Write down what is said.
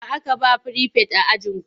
Wa aka ba wa firifet a ajinku?